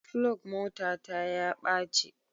Flug motata ya ɓace.